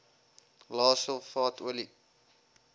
lae sulfaat olie